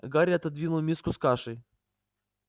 гарри отодвинул миску с кашей